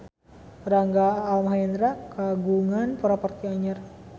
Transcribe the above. Rangga Almahendra kagungan properti anyar